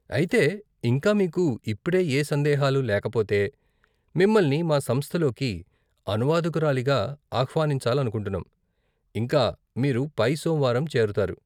అయితే, ఇంకా మీకు ఇప్పుడే ఏ సందేహాలు లేకపోతే, మిమ్మల్ని మా సంస్థలోకి అనువాదకురాలిగా ఆహ్వానించాలనుకుంటున్నాం, ఇంకా, మీరు పై సోమవారం చేరతారు.